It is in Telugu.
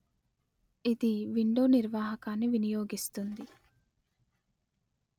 ఇది విండో నిర్వాహకాన్ని వినియోగిస్తుంది